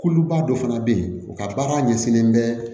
Kuluba dɔ fana bɛ yen u ka baara ɲɛsinnen bɛ